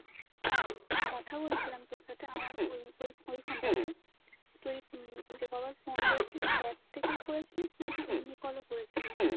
কথা বলছিলাম তোর সাথে আমার ওই phone টা তে তুই যে কবার phone করেছিস ।এক থেকেই করেছিস নাকি এমনি call ও করেছিস